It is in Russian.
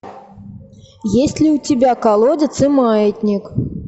есть ли у тебя колодец и маятник